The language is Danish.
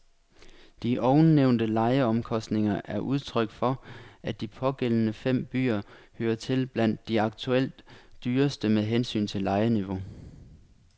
De ovennævnte lejeomkostninger er udtryk for, at de pågældende fem byer hører til blandt de aktuelt dyreste med hensyn til lejeniveau.